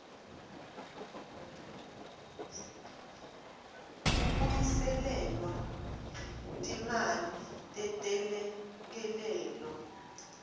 kubuyiselelwa timali tetelekelelo